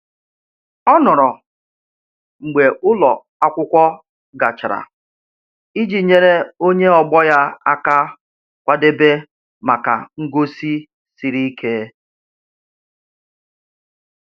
Ọ nọrọ mgbe ụlọ akwụkwọ gachara iji nyere onye ọgbọ ya aka kwadebe maka ngosi siri ike.